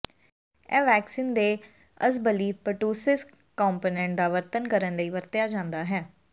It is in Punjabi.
ਇਹ ਵੈਕਸੀਨ ਦੇ ਅਸਬਲੀ ਪਰਟੂਸਿਸ ਕੰਪੋਨੈਂਟ ਦਾ ਵਰਣਨ ਕਰਨ ਲਈ ਵਰਤਿਆ ਜਾਂਦਾ ਹੈ